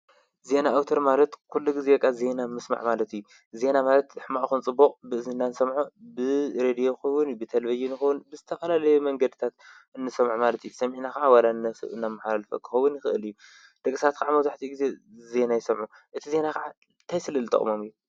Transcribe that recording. ዜና ኣውተር ማለት ኲሉ ጊዜ ቓ ዜይና ምስማዕ ማለቲ ዜይና ማለት ሕማዖኹንጽቡቕ ብእዜንናን ሰምዖ ብ ሬድዮኹቡን ብተልበይንኹዉን ብስተፈላለየ መንገድታት እንሶምዕ ማለቲ ሰሚዕና ኸዓ ወላነስእ እና መሓረል ፈክኸውን ይኽእል እዩ ደገሳት ከዓ መታሕቲ ጊዜ ዘይና ኣይሰምዑ እቲ ዜይና ኸዓ ተይስልል ጠቕሞም እዩ